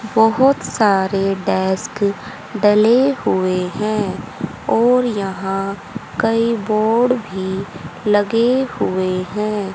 बहोत सारे डेस्क डले हुए हैं और यहां कई बोर्ड भी लगे हुए हैं।